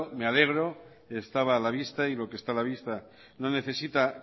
me alegro estaba a la vista y lo que está a la vista no necesita